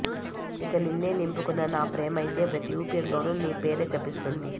ఇక నిన్నే నింపుకున్న నా ప్రేమైతే ప్రతి ఊపిరిలో నీ పేరే జపిస్తోంది